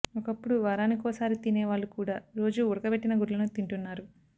ఒకప్పుడు వారానికోసారి తినే వాళ్లు కూడా రోజూ ఉడకబెట్టిన గుడ్లను తింటున్నా రు